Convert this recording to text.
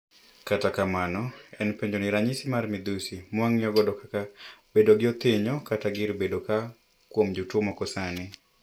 Kata kamano en penjo ni ranyisi mar midhusi mawang'iyo go kaka bedo gi othinyo kata gir bedo ka kuom jotuo moko sani.